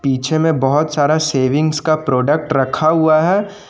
पीछे में बहुत सारा सेविंग्स का प्रोडक्ट रखा हुआ है।